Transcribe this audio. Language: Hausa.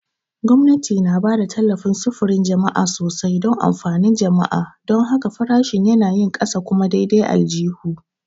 Gwamnati na ba da tallafin sufurin jama'a sosai don amfanin jama'a; don haka, farashin yanayin ƙasa kuma daidai aljihu.